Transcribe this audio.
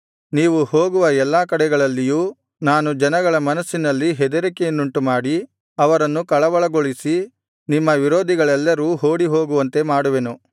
ನೀವು ಹೋಗುವ ಎಲ್ಲಾ ಕಡೆಗಳಲ್ಲಿಯೂ ನಾನು ಜನಗಳ ಮನಸ್ಸಿನಲ್ಲಿ ಹೆದರಿಕೆಯನ್ನುಂಟು ಮಾಡಿ ಅವರನ್ನು ಕಳವಳಗೊಳಿಸಿ ನಿಮ್ಮ ವಿರೋಧಿಗಳೆಲ್ಲರೂ ಓಡಿಹೋಗುವಂತೆ ಮಾಡುವೆನು